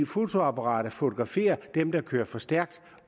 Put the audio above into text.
fotoapparatet fotograferer dem der kører for stærkt